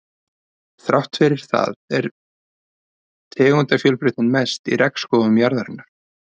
Þrátt fyrir það er tegundafjölbreytnin mest í regnskógum jarðarinnar.